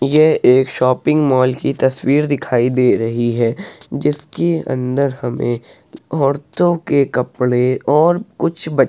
यह एक shopping mall की तस्वीर दिखाई दे रही है- जिसके अंदर हमें औरतों के कपड़े और कुछ --